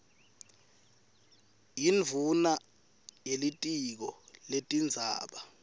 yindvuna yelitiko letindzaba